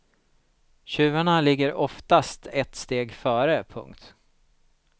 Tjuvarna ligger oftast ett steg före. punkt